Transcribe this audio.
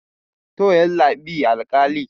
to yallabi alkali